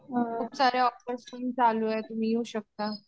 खूप सारे ऑफर्स पण चालू येत तुम्ही येऊ शकता.